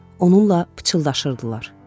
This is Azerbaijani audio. Onunla pıçıldaşırdılar.